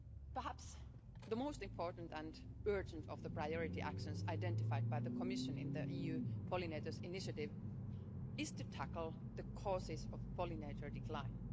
Perhaps the most important and urgent of the priority actions identified by the Commission in the EU pollinators initiative is to tackle the causes of pollinator decline.